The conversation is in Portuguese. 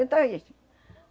Eu estou isso